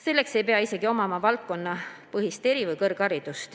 Selleks ei pea omama eri- või kõrgharidust selles valdkonnas.